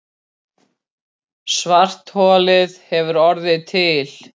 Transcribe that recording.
Svartholið hefur orðið til.